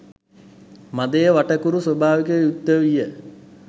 මදය වටකුරු ස්වභාවයෙන් යුක්ත විය.